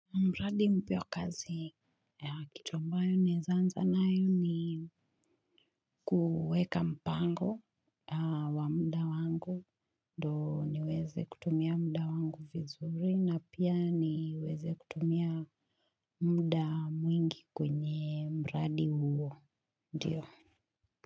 Mradi mpya wa kazi ya kitu ambayo naeza anza nayo ni kuweka mpango wa mda wangu ndo niweze kutumia mda wangu vizuri na pia niweze kutumia mda mwingi kwenye mradi huo ndiyo.